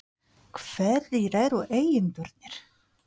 Hverjir eru eigendurnir?